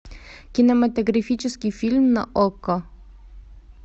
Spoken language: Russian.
кинематографический фильм на окко